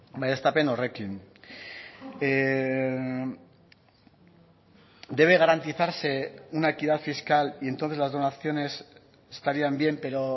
baieztapen horrekin debe garantizarse una equidad fiscal y entonces las donaciones estarían bien pero